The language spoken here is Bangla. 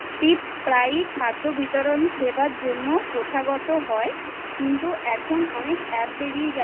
tips প্রায় খাদ্য বিতরণ সেবার জন্য প্রথাগত হয় কিন্তু এখন অনেকের App বেরিয়ে গেছে